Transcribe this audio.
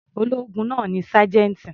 Ológun náà ni sájẹ́ńtì.